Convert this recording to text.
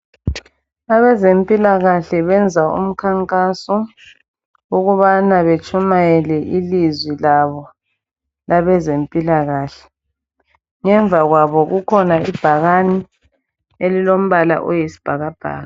Abezempilakahle benza umkhankaso wokubana betshumayele ilizwi labo labezempilakahle. Ngemuva kwabo kukhona ibhakani elilombala oyisibhakabhaka.